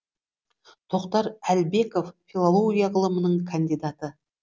тоқтар әлбеков филология ғылымының кандидаты